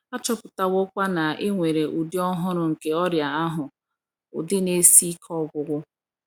A chọpụtawokwa na e nwere ụdị ọhụrụ nke ọrịa ahụ — ụdị na - esi ike ọgwụgwọ.